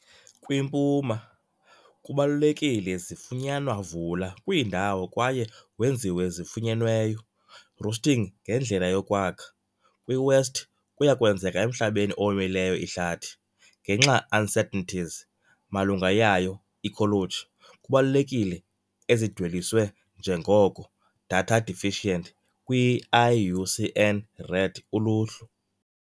Kwimpuma, kubalulekile zifunyanwa vula kwiindawo kwaye wenziwe zifunyenweyo roosting ngendlela yokwakha, kwi-west kuya kwenzeka emhlabeni owomileyo ihlathi. Ngenxa uncertainties malunga yayo ecology, kubalulekile ezidweliswe njengoko "Data Deficient" kwi - IUCN Red Uluhlu.